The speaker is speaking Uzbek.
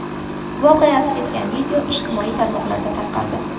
Voqea aks etgan video ijtimoiy tarmoqlarda tarqaldi.